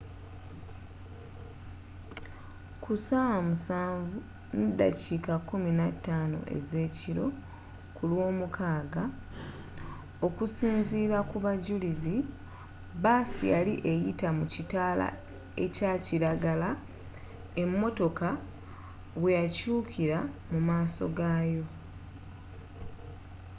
ku 1:15 ezekiro kulwomukaaga okusinzira kubajulizi baasi yali eyita mu kitaala ekyakilagala emotoka bweyakyukira mu maaso gaayo